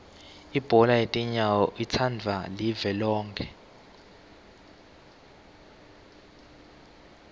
ibhola yetinyawo itsandvwa live lonkhe